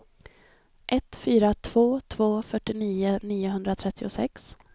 ett fyra två två fyrtionio niohundratrettiosex